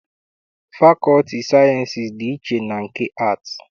Fakọlti sayiensị dị iche na nke aatị.